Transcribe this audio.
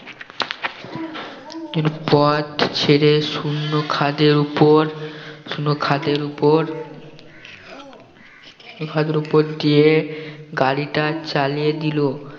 এর পথ ছেড়ে শুন্য খাদের উপর শুন্য খাদের উপর উপর দিয়ে গাড়িটা চালিয়ে দিলো